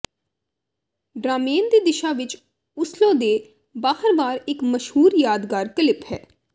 Drammen ਦੀ ਦਿਸ਼ਾ ਵਿੱਚ ਓਸਲੋ ਦੇ ਬਾਹਰਵਾਰ ਇੱਕ ਮਸ਼ਹੂਰ ਯਾਦਗਾਰ ਕਲਿੱਪ ਹੈ